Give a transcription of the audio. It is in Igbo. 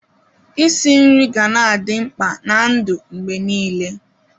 Isi nri ga-na adị mkpa na-ndụ mgbe niile.